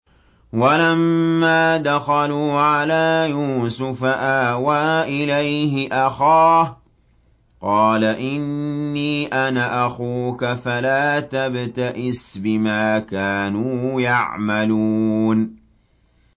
وَلَمَّا دَخَلُوا عَلَىٰ يُوسُفَ آوَىٰ إِلَيْهِ أَخَاهُ ۖ قَالَ إِنِّي أَنَا أَخُوكَ فَلَا تَبْتَئِسْ بِمَا كَانُوا يَعْمَلُونَ